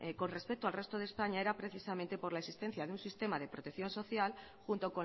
con respecto al resto de españa era precisamente por la existencia de un sistema de protección social junto